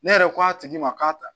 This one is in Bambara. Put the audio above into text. Ne yɛrɛ ko a tigi ma k'a ta